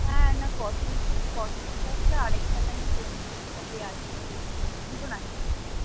হ্যাঁ না fossils fossils আসবে আর একটা যেন কোন একটা কে আসবে দেখছিলাম দুজন আসবে,